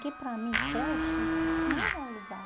Que para mim creche não era lugar.